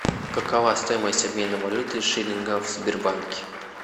какова стоимость обмена валюты шиллинга в сбербанке